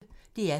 DR P1